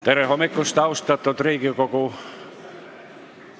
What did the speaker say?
Tere hommikust, austatud Riigikogu!